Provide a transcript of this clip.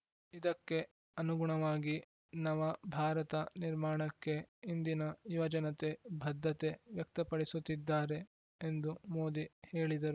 ಇದಕ್ಕೆ ಅನುಗುಣವಾಗಿ ನವ ಭಾರತ ನಿರ್ಮಾಣಕ್ಕೆ ಇಂದಿನ ಯುವಜನತೆ ಬದ್ಧತೆ ವ್ಯಕ್ತಪಡಿಸುತ್ತಿದ್ದಾರೆ ಎಂದು ಮೋದಿ ಹೇಳಿದರು